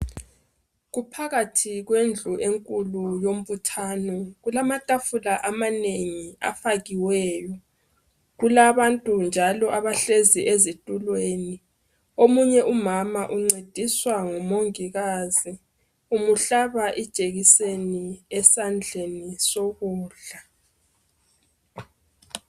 Kuphakathi kwendlu enkulu yombuthano kulamatafula amanengi afakiweyo kulabantu njalo abahlezi ezitulweni omunye umama uncediswa ngumongikazi umuhlaba ijekiseni esandleni sokudla.